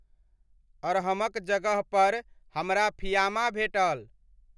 अर्हम'क जगह पर हमरा फ़िआमा भेटल।